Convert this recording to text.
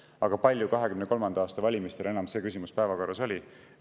Aga kui palju 2023. aasta valimistel see küsimus enam päevakorras oli?